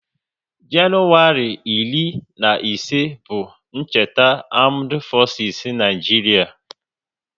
Januwari iri na ise bụ cheta Amdu fosis n'Naijiria